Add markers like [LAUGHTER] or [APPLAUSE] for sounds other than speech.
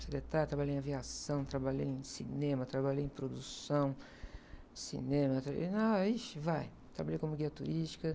Secretária, trabalhei em aviação, trabalhei em cinema, trabalhei em produção, cinema, [UNINTELLIGIBLE] ai, ixi, vai, trabalhei como guia turística.